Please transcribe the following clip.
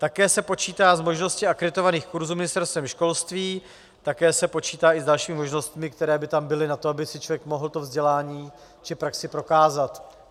Také se počítá s možností akreditovaných kurzů Ministerstvem školství, také se počítá i s dalšími možnostmi, které by tam byly na to, aby si člověk mohl to vzdělání či praxi prokázat.